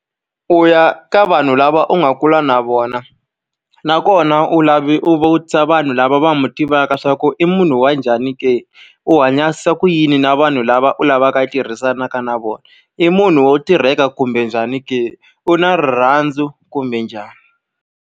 U ya ka vanhu lava u nga kula na vona nakona, u u vutisa vanhu lava va n'wi tivaka leswaku i munhu wa njhani ke? U hanyisa ku yini na vanhu lava u lavaka tirhisanaka na vona. I munhu wo tirheka kumbe njhani ke? U na rirhandzu kumbe njhani.